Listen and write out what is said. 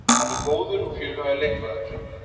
Hann er góður og fjölhæfur leikmaður